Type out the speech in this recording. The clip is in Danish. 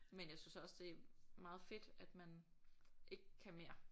Men jeg synes også det er meget fedt at man ikke kan mere